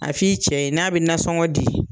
A f'i cɛ ye n'a bɛ nasɔngɔ di